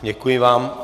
Děkuji vám.